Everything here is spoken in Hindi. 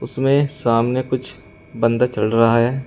इसमें सामने कुछ बांदा चल रहा है।